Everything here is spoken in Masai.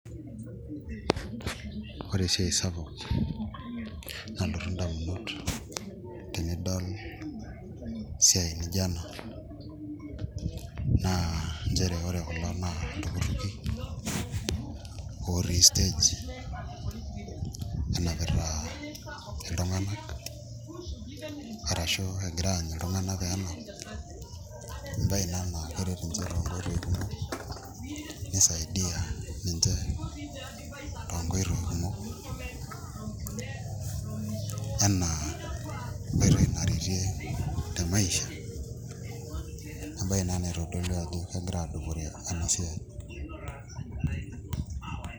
Ore esiai sapuk nalotu ndamunot enidol esiai nijio ena nchere ore kulo naa iltukutuki otii stage aitaa iltung'anak arashu egira aanyu iltung'anak pee enap embaye ina naa keret iloopeny iltukutuki nisaidia ninche toonkoitoi kumok enaa enkoitoi naretie temaisha embaye ina naitodolu ajo kegira aadupore ena baye.